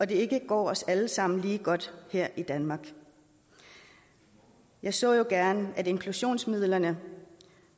det ikke går os alle sammen lige godt her i danmark jeg så jo gerne at inklusionsmidlerne